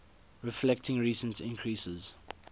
reflecting recent increases